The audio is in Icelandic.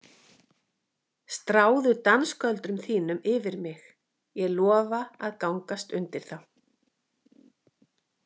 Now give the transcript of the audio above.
Stráðu dansgöldrum þínum yfir mig, ég lofa að gangast undir þá.